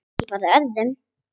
Ekki ber á öðru